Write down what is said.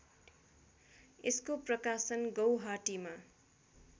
यसको प्रकाशन गौहाटीमा